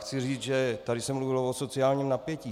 Chci říct, že tady se mluvilo o sociálním napětí.